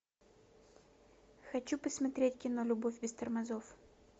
хочу посмотреть кино любовь без тормозов